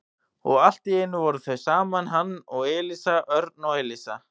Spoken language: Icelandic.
Og allt í einu voru þau saman, hann og Elísa, Örn og Elísa.